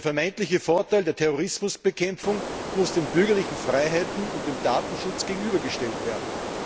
Der vermeintliche Vorteil der Terrorismusbekämpfung muss den bürgerlichen Freiheiten und dem Datenschutz gegenübergestellt werden.